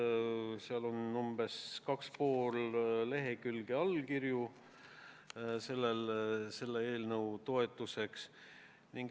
Eelnõu toetuseks on umbes kaks ja pool lehekülge allkirju.